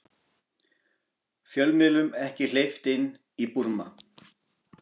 Fjölmiðlum ekki hleypt inn í Búrma